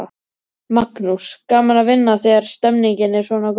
Magnús: Gaman að vinna þegar stemningin er svona góð?